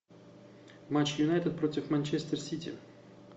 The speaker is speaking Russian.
матч юнайтед против манчестер сити